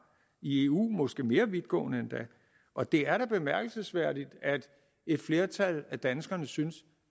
i eu måske endda mere vidtgående og det er da bemærkelsesværdigt at et flertal af danskerne synes